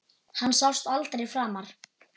Hann sást aldrei framar.